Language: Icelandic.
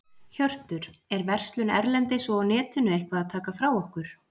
Hjörtur: Er verslun erlendis og á netinu eitthvað að taka frá okkur?